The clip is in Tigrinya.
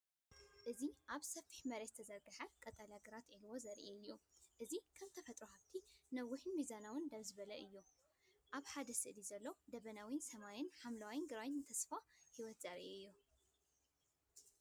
እዚ ኣብ ሰፊሕ መሬት ዝተዘርግሐ ቀጠልያ ግራት ዒልዎ ዘርኢ እዩ። እዚ ከም ተፈጥሮኣዊ ሃብቲ ነዊሕን ሚዛናውን ደው ዝበሉ እዮም። ኣብ ሓደ ስእሊ ዘሎ ደበናዊ ሰማይን ሓምላይ ግራውትን ተስፋ ህይወት ዘርኢ እዩ።